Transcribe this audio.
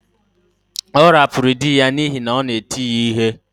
Ọ hapụrụ di ya n’ihi na ọ na-eti ya ihe